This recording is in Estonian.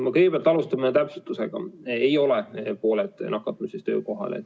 Ma kõigepealt alustan täpsustusega, ei ole pooled nakatumistest töökohal.